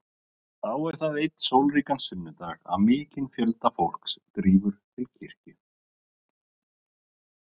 Þá er það einn sólríkan sunnudag að mikinn fjölda fólks drífur til kirkju.